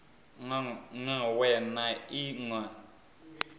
ṅ we na i ṅ